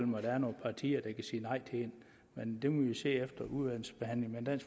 mig der er nogen partier der kan sige nej til det men det må vi se efter udvalgsbehandlingen men